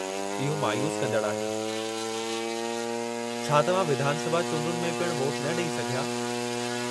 इहो मायूसु कंदड़ु आहे। छा तव्हां विधान सभा चूंडनि में पिणु वोटु न ॾेई सघिया?